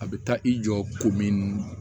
A bɛ taa i jɔ ko min